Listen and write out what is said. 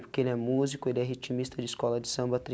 Porque ele é músico, ele é ritmista de escola de samba a